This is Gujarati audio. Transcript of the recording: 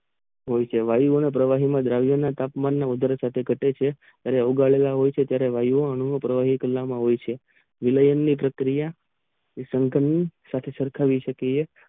હોય છે વાયુ પ્રવાહીમાં દ્રવ્ય નું તાપમાન માં વધારો થતારો છે અને ઓગાળવા દે છે ત્યારે વાયુ ઓ નું પ્રવાહી કરવા માં આવે છે મિલેંન પ્રક્રિયા નિસકન સાથે સરખાવીએ શકીયે છીએ